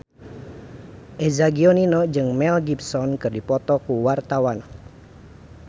Eza Gionino jeung Mel Gibson keur dipoto ku wartawan